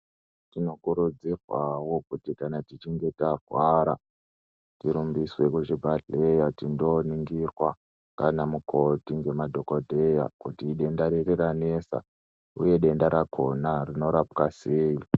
Tinokurudzirwawo kuti kana tichinge takuwara tirumbiswe kuchibhedhlera tindoringirwa nganamukoti ngemadhogodheya kuti denda riri ranesa uye denda rakhona rinorapwa sei.